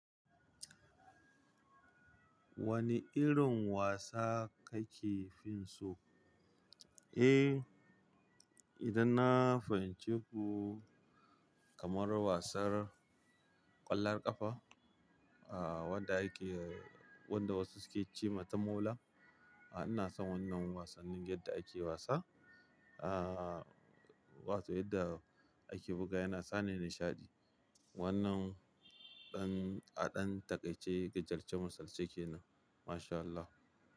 Wane irin wasa kake finso? Eh, idan na fahimci ku kamar wasar ƙwallon ƙafa, ah wadda ake wanda wasu suke cewa ta mola. Ina son wannan wasannin yadda ake wasa, wato yadda ake buga yana sani nishaɗi. Wannan ɗan aɗan taƙaice gajercen masalci kenan. Mashallah.